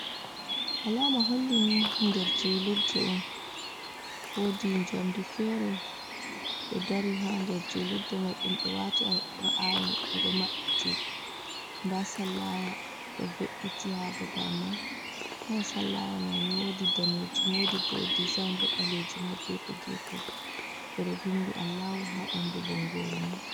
Alama holli ni nder julurde on wodi njamdi feere ɗo dari ha nder julurde mai ɗum ɓe waati Alqur’ani ɓe ɗo maɓɓiti nda sallaya ɗo ve’iti ha babal man, kala sallaya maini wodi danejum wodi bo dezign ba ɓalejum ha gefe gefe ɓe ɗo vindi Allahu ha ɓandu bongoru man.